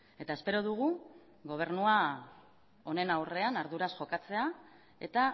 eta espero dugu gobernua honen aurrean arduraz jokatzea eta